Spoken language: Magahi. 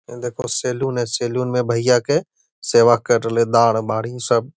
ए देखो सैलून है सैलून में भइया के सेवा कर रहले दाड़ बारी सब।